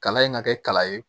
Kalan in ka kɛ kala ye